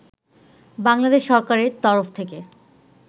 বাংলাদেশ সরকারের তরফ থেকে